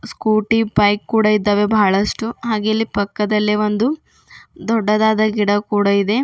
Scooty bike ಕೂಡ ಇದ್ದಾವೆ ಬಹಳಷ್ಟು ಹಾಗೆಯೇ ಇಲ್ಲಿ ಪಕ್ಕದಲ್ಲೆ ಒಂದು ದೊಡ್ಡದಾದ ಗಿಡ ಕೂಡ ಇದೆ.